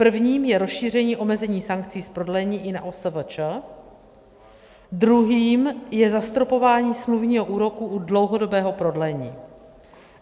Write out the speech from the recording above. Prvním je rozšíření omezení sankcí z prodlení i na OSVČ, druhým je zastropování smluvního úroku u dlouhodobého prodlení.